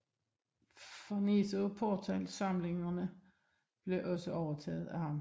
Farnese og Pourtals samlingerne blev også overtaget af ham